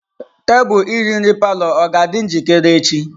Tebụl iri nri palọ aga-adị njikere echi?